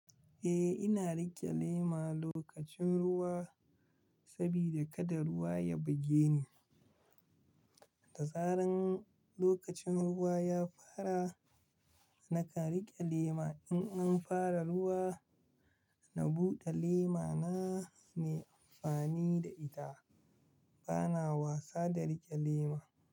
Eh, ina riƙe lema lokacin ruwa sabida kada ruwa ya buge ni. Da zaran lokacin ruwa ya fara, nakan riƙe lema. In an fara ruwa, na buɗe lema na, nai amfani da ita. Bana wasa da riƙe lema.